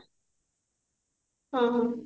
ହଁ